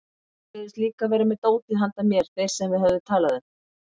Þeir sögðust líka vera með dótið handa mér sem þeir höfðu talað um.